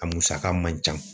A musaka man ca